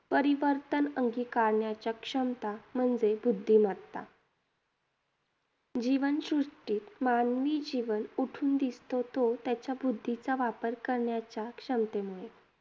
परिवर्तन अंगिकारण्याच्या क्षमता म्हणजे बुद्धिमत्ता. जीवनसृष्टीत मानवी जीवन उठून दिसतो तो त्याच्या बुद्धीचा वापर करण्याच्या क्षमतेमुळे.